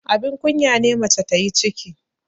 abin kunya ne mace ta yi ciki